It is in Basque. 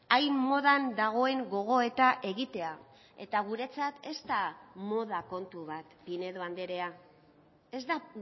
hain modan dagoen gogoeta egitea eta guretzat ez da moda kontu bat pinedo andrea ez da